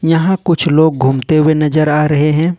यहां कुछ लोग घूमते हुए नजर आ रहे हैं।